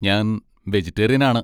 ഞാൻ വെജിറ്റേറിയൻ ആണ്.